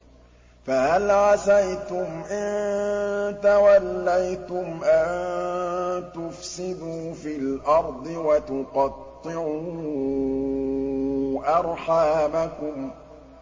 فَهَلْ عَسَيْتُمْ إِن تَوَلَّيْتُمْ أَن تُفْسِدُوا فِي الْأَرْضِ وَتُقَطِّعُوا أَرْحَامَكُمْ